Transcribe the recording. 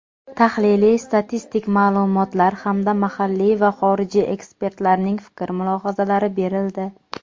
tahliliy-statistik ma’lumotlar hamda mahalliy va xorijiy ekspertlarning fikr-mulohazalari berildi.